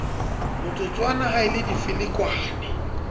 motsotswana ha e le difelekwane